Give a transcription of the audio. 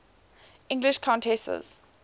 english countesses